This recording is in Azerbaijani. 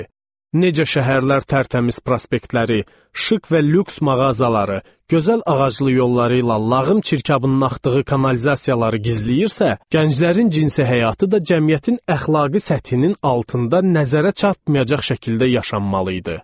Necə şəhərlər tərtəmiz prospektləri, şıq və lüks mağazaları, gözəl ağaclı yolları ilə lağım çirkabının axdığı kanalizasiyaları gizləyirsə, gənclərin cinsi həyatı da cəmiyyətin əxlaqi səthinin altında nəzərə çatmayacaq şəkildə yaşanmalı idi.